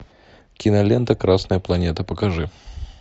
кинолента красная планета покажи